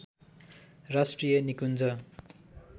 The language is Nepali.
राष्ट्रिय निकुञ्ज